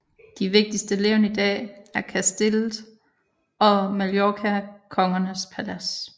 De vigtigste levn i dag er Castillet og Mallorcakongernes palads